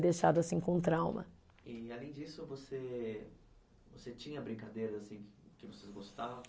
Deixado assim com trauma. E, além disso você, você tinha brincadeira assim que, que vocês gostavam?